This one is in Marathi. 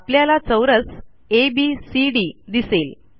आपल्याला चौरस एबीसीडी दिसेल